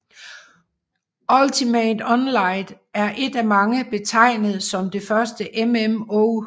Ultima Online er af mange betegnet som det første MMO